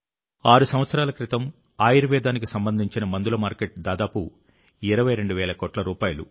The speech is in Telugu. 6 సంవత్సరాల క్రితం ఆయుర్వేదానికి సంబంధించిన మందుల మార్కెట్ దాదాపు 22 వేల కోట్ల రూపాయలు